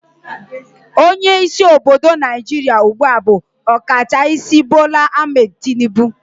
Onye isi obodo naijiria ugbua bu Okachaisi Bola Ahmed Tinibu